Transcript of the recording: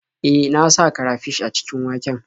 E, na sa karafish a cikin waken.